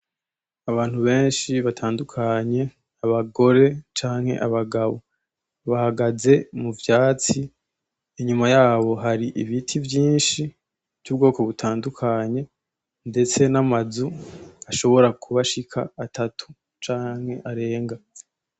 Abantu benshi batandukanye, abagore canke abagabo. Bahagaze muvyatsi, inyuma yabo hari ibiti vyinshi vy'ubwoko butandukanye ndetse n'amazu ashobora kuba ashika atatu canke arenga.